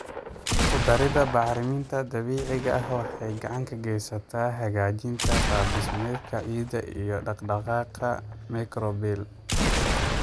Ku darida bacriminta dabiiciga ah waxay gacan ka geysataa hagaajinta qaab dhismeedka ciidda iyo dhaqdhaqaaqa microbial.